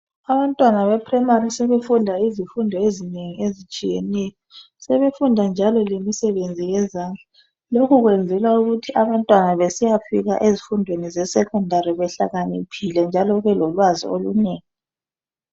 Abantwana bePrimary sebefunda izifundo ezinengi ezitshiyeneyo sebefunda njalo lemisebenzi yezandla lokhu kwenzelwa ukuthi abantwana besiyafika ezifundweni zeSecondary behlakaniphile njalo belolwazi olunengi.